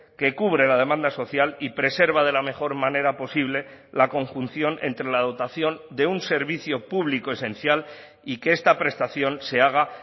que cubre la demanda social y preserva de la mejor manera posible la conjunción entre la dotación de un servicio público esencial y que esta prestación se haga